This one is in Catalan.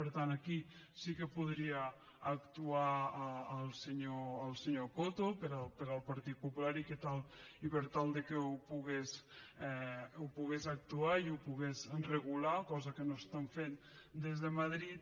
per tant aquí sí que podria actuar el senyor coto pel partit popular i per tal que hi pogués actuar i ho pogués regular cosa que no estan fent des de madrid